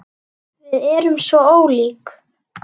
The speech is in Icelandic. Við erum svo ólík.